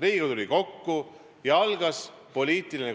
Riigikogu tuli kokku ja algas poliitiline